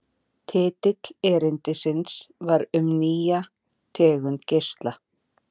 Titill erindisins var Um nýja tegund geisla.